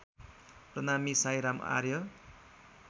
प्रणामी Sairam आर्य